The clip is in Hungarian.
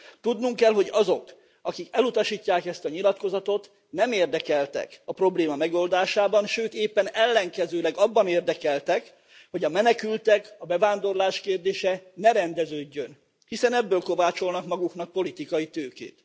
Tudnunk kell, hogy azok, akik elutasítják ezt a nyilatkozatot, nem érdekeltek a probléma megoldásában, sőt, éppen ellenkezőleg, abban érdekeltek, hogy a menekültek, a bevándorlás kérdése ne rendeződjön, hiszen ebből kovácsolnak maguknak politikai tőkét.